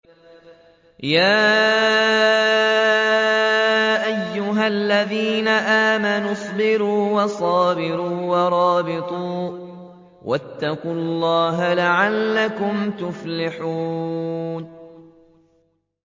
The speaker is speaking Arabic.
يَا أَيُّهَا الَّذِينَ آمَنُوا اصْبِرُوا وَصَابِرُوا وَرَابِطُوا وَاتَّقُوا اللَّهَ لَعَلَّكُمْ تُفْلِحُونَ